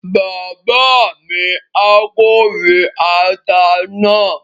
Bàbá mi á kórè ata náà